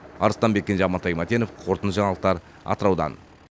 арыстанбек кенже амантай мәтенов қорытынды жаңалықтар атыраудан